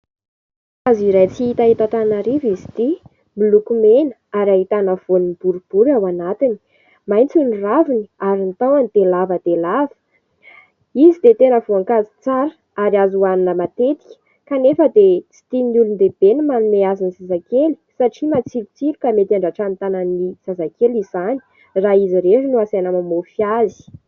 Voankazo iray tsy hita eto Antananarivo izy ity. Miloko mena ary ahitana voan'ny boribory ao anatiny, maitso ny raviny ary ny tahony dia lava dia lava. Izy dia tena voankazo tsara ary azo hohanina matetika ; kanefa dia tsy tian'ny olon-dehibe ny manome azy ny zazakely satria matsilotsilo ka mety handratra ny tanan'ny zazakely izany raha izy irery no asaina mamofy azy.